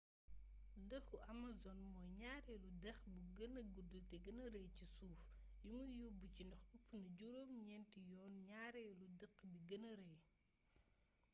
dexu amazon mooy ñaareelu dex bi gëna gudd te gëna rëy ci suuf limuy yóbb ci ndox ëpp na juróom ñetti yoon ñaareelu dex bi gëna rëy